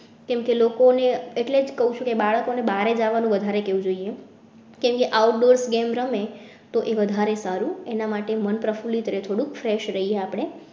કેમ કે લોકોને એટલે જ કહું છું કે બાળકો ને બહાર જવા નું વધારે કેવું જોઈએ કેમ કે outdoor games રમે તો એ વધારે સારું એના માટે મન પ્રફુલ્લિત રહે થોડું fresh રહીએ આપડે